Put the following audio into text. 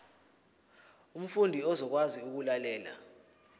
umfundi uzokwazi ukulalela